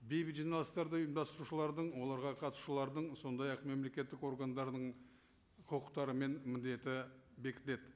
бейбіт жиналыстарды ұйымдастырушылардың оларға қатысушылардың сондай ақ мемлекеттік органдардың құқықтары мен міндеті бекітіледі